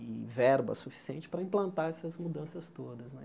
e verba suficiente para implantar essas mudanças todas. né